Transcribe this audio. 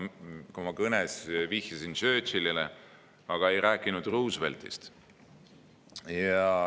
Oma kõnes ma vihjasin Churchillile, aga ei rääkinud Rooseveltist.